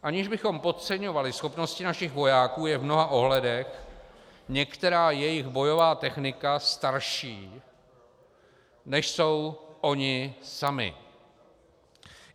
Aniž bychom podceňovali schopnosti našich vojáků, je v mnoha ohledech některá jejich bojová technika starší, než jsou oni sami.